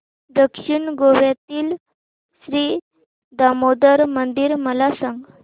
दक्षिण गोव्यातील श्री दामोदर मंदिर मला सांग